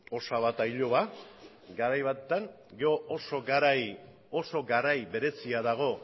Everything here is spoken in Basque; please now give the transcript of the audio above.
osaba eta iloba garai batetan gero oso garai berezia dago